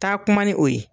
Taa kuma ni o ye